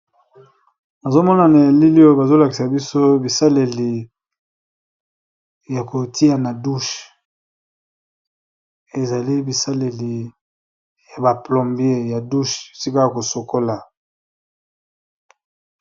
Awa tomona na bilili oyo bazolakisa biso bisaleli ya kotia na dushe ezali bisaleli ya baplombier ya dushe sika ya kosokola.